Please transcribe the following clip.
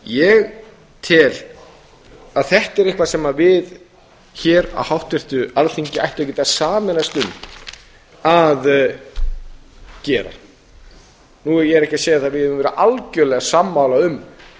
ég tel að þetta sé eitthvað sem við hér á háttvirtu alþingi ættum að geta sameinast um að gera ég er ekki að segja að við eigum að vera algjörlega sammála um